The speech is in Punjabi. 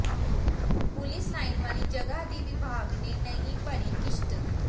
ਪੁਲੀਸ ਲਾਈਨ ਵਾਲੀ ਜਗ੍ਹਾ ਦੀ ਵਿਭਾਗ ਨੇ ਨਹੀਂ ਭਰੀ ਕਿਸ਼ਤ